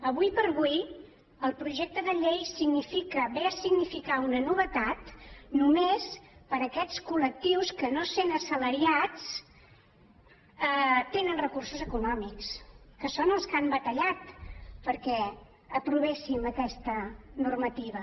ara com ara el projecte de llei significa ve a significar una novetat només per a aquests col·lectius que no sent assalariats tenen recursos econòmics que són els que han batallat perquè aprovéssim aquesta normativa